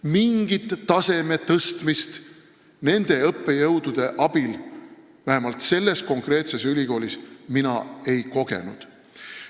Mingit taseme tõstmist nende õppejõudude abil vähemalt selles konkreetses ülikoolis mina ei kogenud.